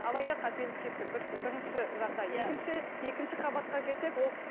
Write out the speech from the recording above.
алайда қателік кетті бірінші жағдай иә екінші екінші қабатқа келсек ол